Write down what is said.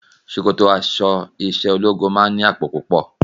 Ṣòkòtò aṣọ iṣẹ́ ológun máa ń ní àpò púpọ̀